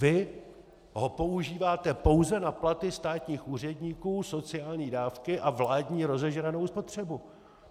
Vy ho používáte pouze na platy státních úředníků, sociální dávky a vládní rozežranou spotřebu.